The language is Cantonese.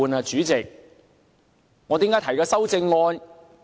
主席，我為何要提出修正案？